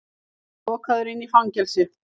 Lokaður inni í fangelsi!